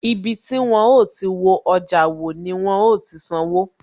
Ibi tí wón ó ti wo ọjà wò, ni wọn ó ti san owó